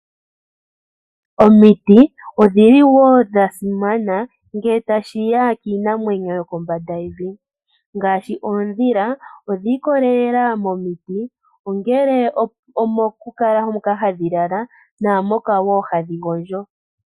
Omiti odhili wo dhasimana ngele tashiya kiinamwenyo yokombanda yevi ngaashi, oodhila odhiikolelela momiti ongele omokukala moka hadhilala naamoka wo hadhigondjo.